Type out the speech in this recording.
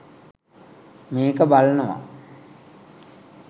මේක බලනවා